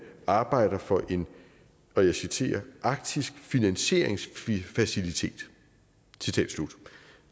arbejder for en og jeg citerer arktisk finansieringsfacilitet